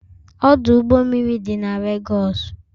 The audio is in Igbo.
Ọdụ ụgbọ mmiri dị na Legosu